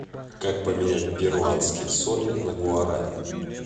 как поменять перуанские соли на гуарани